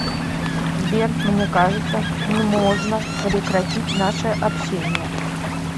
сбер мне кажется нможно прекратить наше общение